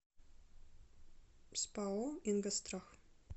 спао ингосстрах